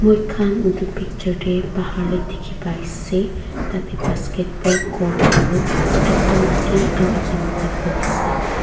moikhan edu picture tae bahar tae dikhipaiase tatae basketball court aro ekta maki aro ekta maki boiase.